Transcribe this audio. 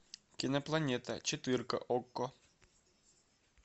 кинопланета четырка окко